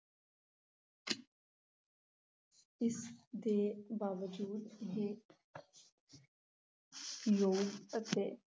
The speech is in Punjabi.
ਇਸ ਦੇ ਬਾਵਜੂਦ ਵੀ ਯੋਗ ਅਤੇ